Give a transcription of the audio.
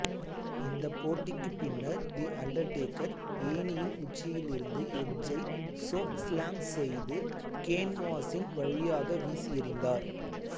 இந்தப் போட்டிக்குப் பின்னர் தி அண்டர்டேக்கர் ஏணியின் உச்சியிலிருந்து எட்ஜை சோக்ஸ்லாம் செய்து கேன்வாஸின் வழியாக வீசியெறிந்தார்